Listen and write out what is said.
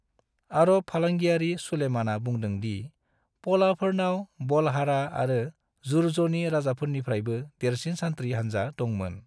अरब फालांगियारि सुलेमानआ बुंदों दि पलाफोरनाव बलहारा आरो जुर्ज़नि राजानिफ्रायबो देरसिन सान्थ्रि हानजा दं मोन।